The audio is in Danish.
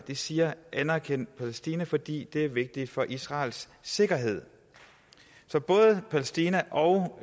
siger anerkend palæstina fordi det er vigtigt for israels sikkerhed så palæstina og